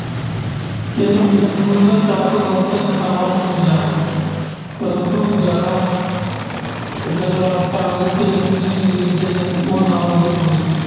ਇਹ mission ਕੁੱਲ ਚਾਰ ਸੌ ਬਹੱਤਰ ਨੇਤਾਵਾਂ ਨੂੰ ਮਿਲਿਆ, ਪ੍ਰੰਤੂ ਜਦੋਂ ਗੱਲਬਾਤ ਕਾਂਗਰਸ਼ ਤੇ ਮੁਸਲਿਮ ਲੀਗ ਦੇ ਨੇਤਾਵਾਂ ਨਾਲ ਵੀ ਹੋਈ।